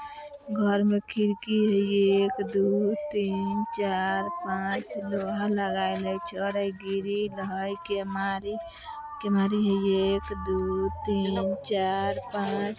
घर में खिड़की हई एक दू तीन चार पाँच लोहा लगायल हई छड़ हई गिरिल हई केमारी केमारी हई एक दू तीन चार पाँच।